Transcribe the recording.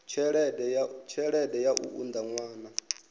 tshelede ya u unḓa ṅwana